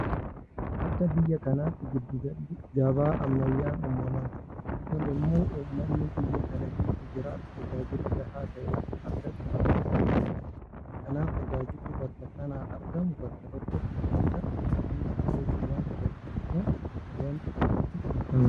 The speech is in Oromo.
Akka biyya kanaatti giddu galli gabaa ammayyaa'aan uumamaa jira. Kun immoo uummanni biyya kana keessa jiraatu tajaajila gahaa ta'e akka argatu taasisuu danda'a. Kanaaf tajaajilli bakka sanaa argamu bakka tokkotti oomisha hunda argachuu waanta danda'amuuf waanti akkasii filatamaadha.